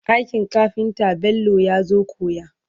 aikin kafinta Bello yazo koya